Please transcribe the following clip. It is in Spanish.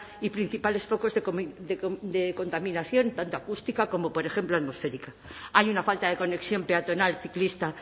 y principales focos de contaminación tanto acústica como por ejemplo atmosférica hay una falta de conexión peatonal ciclista